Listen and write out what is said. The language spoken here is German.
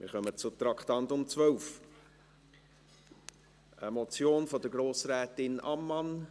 Wir kommen zum Traktandum 12, einer Motion der Grossrätin Ammann.